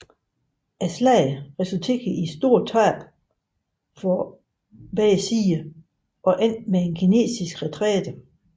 Slaget resulterede i store tab for begge sider og endte med en kinesisk retræte